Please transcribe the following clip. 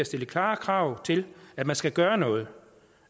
stille klare krav til at man skal gøre noget